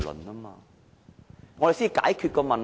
只有這樣才能解決問題。